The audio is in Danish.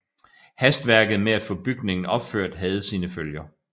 Hastværket med at få bygningen opført havde sine følger